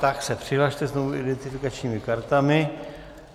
Tak se přihlaste znovu identifikačními kartami.